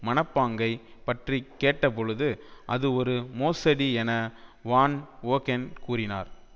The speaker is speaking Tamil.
மனப்பாங்கை பற்றி கேட்டபொழுது அது ஒரு மோசடி என வான் ஒகென் கூறினார்